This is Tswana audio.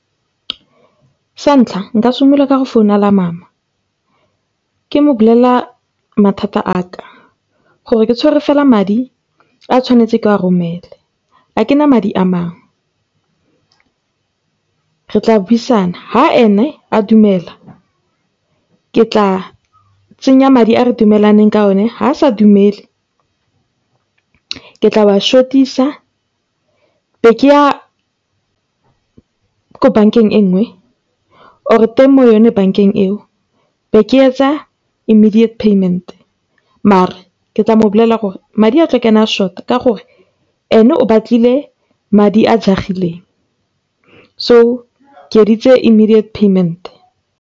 Sa ntlha nka simolla ka go founela Mama ke mo bolella mathata a ka gore ke tshwere fela madi a ke tswanetse ke a romele. Ga ke na madi a mangwe, re tla buisana. Ha ene a dumela, ke tla tsenya madi a re dumalaneng ka one, ha sa dumele, ke tla short-isa ke bo ke ya ko bankeng e nngwe or teng mo go yone banka eo be ke etsa immediate payment mare ke tla mo bolella gore madi a tla tsena a short-a ka gore ene o batlile madi a jagileng so ke immediate payment.